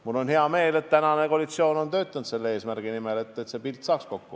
Mul on hea meel, et tänane koalitsioon on töötanud selle eesmärgi nimel, et see pilt saaks kokku.